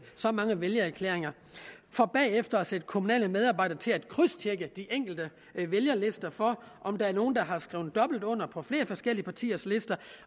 så mange vælgererklæringer for bagefter at sætte kommunale medarbejdere til at krydstjekke de enkle vælgerlister for at se om der er nogle der har skrevet dobbelt under på flere forskellige partiers lister